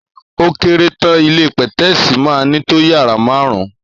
Ò kẹrẹ tàn ìlé pẹtẹsi mà nito yàrá màárún.